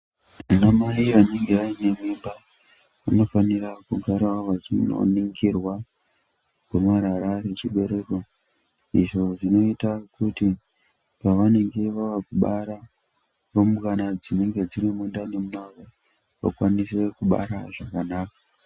Anamai anenge vaine mimba, vanofanira kugarawo vachinoningirwa, gomarara rechibereko, izvo zvinoita kuti, pavanenge vavakubara, rumbwana dzinenge dziri mundani mwavo, vakwanise kubara zvakanaka.